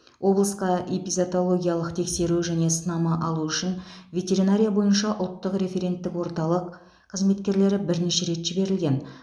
облысқа эпизоотологиялық тексеру және сынама алу үшін ветеринария бойынша ұлттық референттік орталық қызметкерлері бірнеше рет жіберілген